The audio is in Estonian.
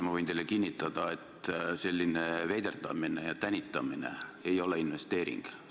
Ma võin teile kinnitada, et selline veiderdamine ja tänitamine ei ole investeering.